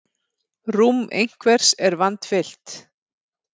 Rúm einhvers er vandfyllt